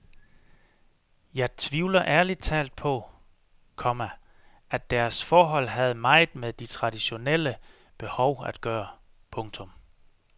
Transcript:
Jeg tvivler ærlig talt på, komma at deres forhold havde meget med de traditionelle behov at gøre. punktum